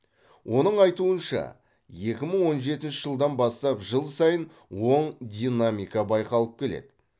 оның айтуынша екі мың он жетінші жылдан бастап жыл сайын оң динамика байқалып келеді